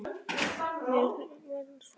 Verið svolítið einn á ferð?